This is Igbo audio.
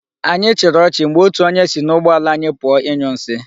Anyị chịrị ọchị mgbe otu onye si n'ụgbọ ala anyi pụọ ịnyụ nsi.